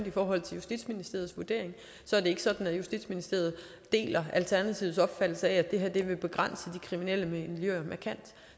i forhold til justitsministeriets vurdering er det ikke sådan at justitsministeriet deler alternativets opfattelse af at det her vil begrænse de kriminelle miljøer markant